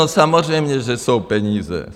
No samozřejmě že jsou peníze.